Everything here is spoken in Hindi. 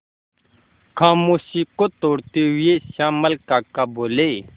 खामोशी को तोड़ते हुए श्यामल काका बोले